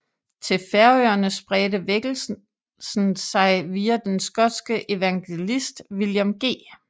Til Færøerne spredte vækkelsen sig via den skotske evangelist William G